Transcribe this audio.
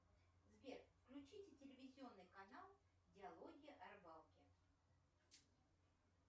сбер включите телевизионный канал диалоги о рыбалке